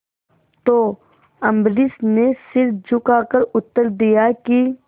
तो अम्बरीश ने सिर झुकाकर उत्तर दिया कि